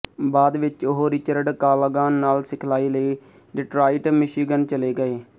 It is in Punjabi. ਬਾਅਦ ਵਿੱਚ ਉਹ ਰਿਚਰਡ ਕਾਲਾਗਾਨ ਨਾਲ ਸਿਖਲਾਈ ਲਈ ਡਿਟਰਾਇਟ ਮਿਸ਼ੀਗਨ ਚਲੇ ਗਏ